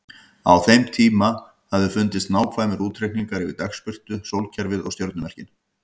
Á þeim hafa fundist nákvæmir útreikningar yfir dagsbirtu, sólkerfið og stjörnumerkin.